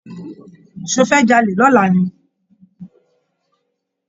Ṣofẹ́ jalè lọ̀la ni?